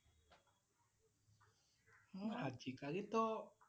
আজি কালি তহ